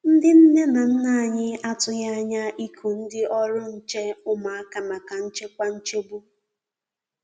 Ndi nne na nna a tụghi anya iku ndi ọrụ nche ụmụaka maka nchekwa nchegbu.